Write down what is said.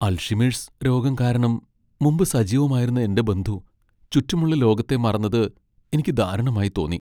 Alzheimer's രോഗം കാരണം മുമ്പ് സജീവമായിരുന്ന എന്റെ ബന്ധു ചുറ്റുമുള്ള ലോകത്തെ മറന്നത് എനിക്ക് ദാരുണമായി തോന്നി.